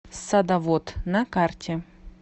садоводъ на карте